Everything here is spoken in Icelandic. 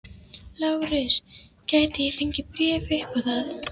LÁRUS: Gæti ég fengið bréf upp á það?